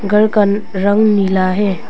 घर का रंग नीला है।